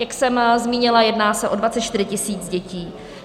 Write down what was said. Jak jsem zmínila, jedná se o 24 tisíc dětí.